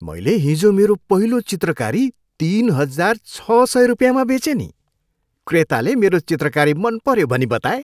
मैले हिजो मेरो पहिलो चित्रकारी तिन हजार छ सय रुपियाँमा बेचेँ नि। क्रेताले मेरो चित्रकारी मन पऱ्यो भनी बताए।